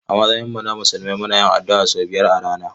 A matsayinmu na musulmi muna yin addu'a sau biyar a rana.